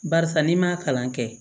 Barisa n'i m'a kalan kɛ